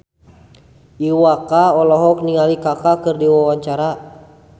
Iwa K olohok ningali Kaka keur diwawancara